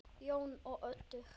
Jón og Oddur.